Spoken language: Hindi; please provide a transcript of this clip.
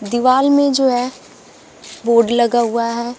दीवाल में जो है बोर्ड लगा हुआ है।